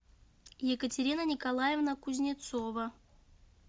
екатерина николаевна кузнецова